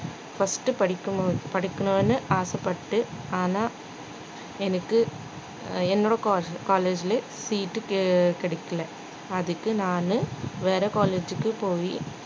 first உ படிக்கணும்~ படிக்கணும்னு ஆசைப்பட்டு ஆனா எனக்கு என்னோட colle~ college லயே seat கி~ கிடைக்கல அதுக்கு நானு வேற college க்கு போய்